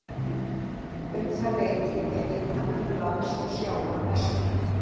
Um það leyti er hitamunur lands og sjávar mestur.